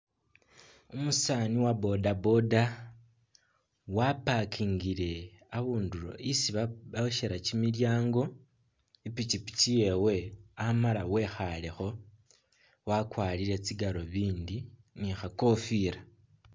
Umusaani wa boda boda wa parkingile isi bosyela kimilyaango i'pikipiki yewe amala wekhaalekho wakwarire tsi galubindi ni khakofila.